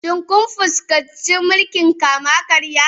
Shin kun fuskanci mulkin kama karya?